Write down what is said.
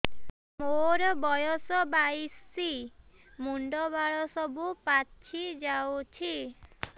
ମୋର ବୟସ ବାଇଶି ମୁଣ୍ଡ ବାଳ ସବୁ ପାଛି ଯାଉଛି